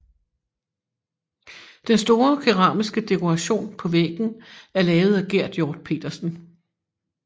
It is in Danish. Den store keramiske dekoration på væggen er lavet af Gerd Hiorth Petersen